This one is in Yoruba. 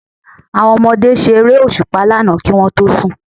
Àwọn ọmọdé ṣe Eré òṣùpá lánàá kí wọ́n tó sùn